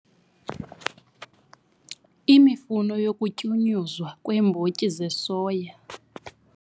Imfuno yokutyunyuzwa kweembotyi zesoya